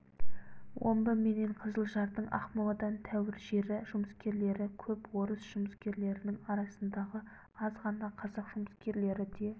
омбы менен қызылжардың ақмоладан тәуір жері жұмыскерлері көп орыс жұмыскерлерінің арасындағы аз ғана қазақ жұмыскерлері де